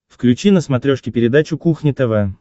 включи на смотрешке передачу кухня тв